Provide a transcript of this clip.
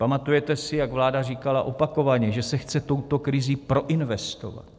Pamatujete si, jak vláda říkala opakovaně, že se chce touto krizí proinvestovat?